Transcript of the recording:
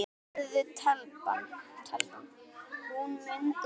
spurði telpan.